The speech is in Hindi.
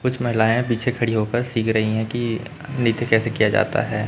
कुछ महिलाएं पीछे खड़ी हो कर सिख रही है कि नृत्य कैसे किया जाता है।